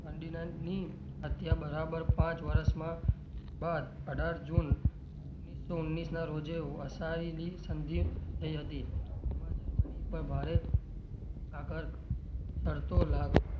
અત્યારે બરાબર પાંચ વર્ષમાં બાદ અઢાર જુન ઓગણીસો ઓગણીસ ના રોજે વસાવેલી સંધી થઇ હતી તેમાં જર્મની પર ભારે આગર્ક શરતો લાગુ,